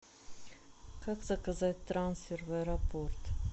как заказать трансфер в аэропорт